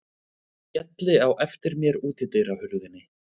Ég skelli á eftir mér útidyrahurðinni.